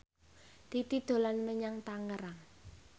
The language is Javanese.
Titi dolan menyang Tangerang